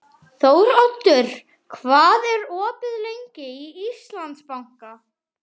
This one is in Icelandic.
Þóroddur, hvað er opið lengi í Íslandsbanka?